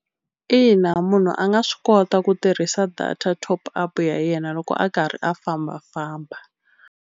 Ina munhu a nga swi kota ku tirhisa data top up ya yena loko a karhi a fambafamba.